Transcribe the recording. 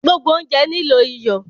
Gbogbo ounjẹ nilo iyọ